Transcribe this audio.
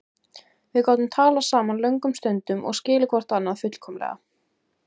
Við gátum talað saman löngum stundum og skilið hvort annað fullkomlega.